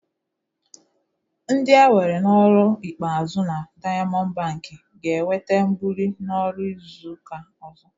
Ndị e were n'ọrụ ikpeazụ na Daịamọndụ bankị ga-enweta mbuli n'ọrụ n'izu ụka ọzọ.